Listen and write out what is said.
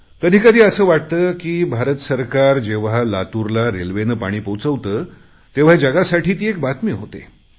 कधी कधी असे वाटते की जेव्हा भारत सरकार लातूरला रेल्वेने पाणी पोचवते तेव्हा जगासाठी ती एक बातमी होते